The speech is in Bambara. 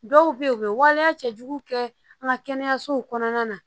Dɔw bɛ yen u bɛ waleya cɛjugu kɛ an ka kɛnɛyasow kɔnɔna na